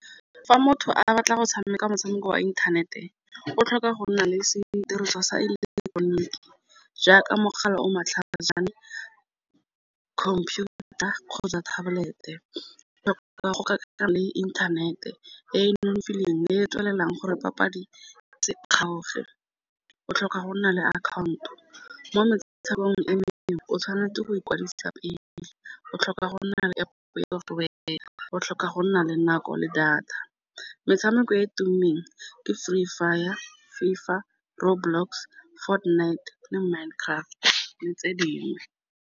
Fa motho a batla go tshameka motshameko wa inthanete o tlhoka go nna le sediriswa sa ileketoroniki jaaka mogala o matlhajana, computer, kgotsa tablet-e. Le fa go tlhokega le internet e e nonofileng le e e tswelelang gore papadi , o tlhoka go nna le account-o mo metshamekong e mengwe o tshwanetse go ikwadisa pele, o tlhoka go nna le nako le data. Metshameko e tummeng ke Free Fire, FIFA, RoadBlock, Fortnite le Minecraft le tse dingwe.